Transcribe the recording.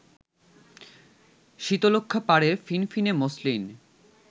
শীতলক্ষ্যাপাড়ের ফিনফিনে মসলিন